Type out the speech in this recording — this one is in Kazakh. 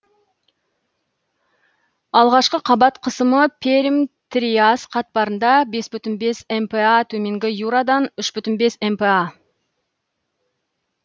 алғашқы қабат қысымы пермь триас қатпарында бес бүтін бес мпа төменгі юрадан үш бүтін бес мпа